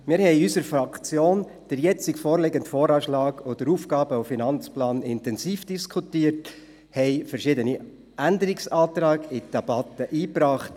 Wir haben in unserer Fraktion den jetzt vorliegenden VA und den AFP intensiv diskutiert, haben verschiedene Änderungsanträge in die Debatte eingebracht.